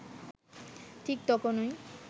ঠিক তখনই